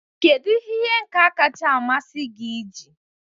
Kedu ihe ihe nka kacha amasị gị iji?